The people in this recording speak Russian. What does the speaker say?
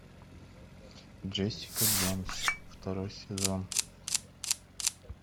джессика джонс второй сезон